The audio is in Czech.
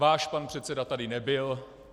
Váš pan předseda tady nebyl.